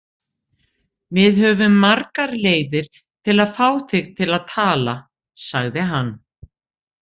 Við höfum margar leiðir til að fá þig til að tala, sagði hann.